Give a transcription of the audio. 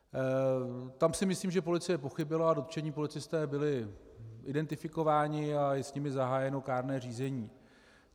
Tam si myslím, že policie pochybila, a dotčení policisté byli identifikováni a je s nimi zahájeno kárné řízení.